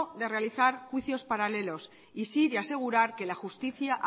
de realizar juicios paralelos y sí de asegurar que la justicia